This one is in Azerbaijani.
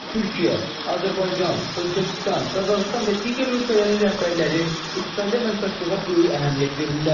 Türkiyə, Azərbaycan, Özbəkistan, Qazaxıstan və digər ölkələrin rəhbərləri iqtisadi əməkdaşlığa böyük əhəmiyyət verirlər.